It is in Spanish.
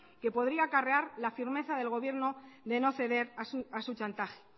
que podría acarrear la firmeza del gobierno de no ceder a su chantaje